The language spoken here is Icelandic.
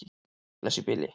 Bless í bili.